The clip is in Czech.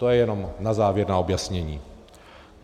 To je jenom na závěr na objasnění.